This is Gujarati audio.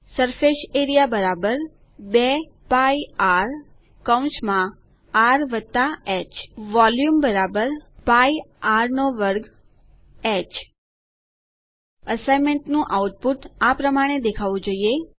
સરફેસ એઆરઇએ 2 π rઆર હ વોલ્યુમ π r2h એસાઈનમેન્ટ નું આઉટપુટ આ પ્રમાણે દેખાવું જોઈએ